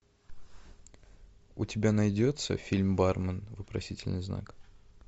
у тебя найдется фильм бармен вопросительный знак